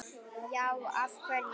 Já, af hverju?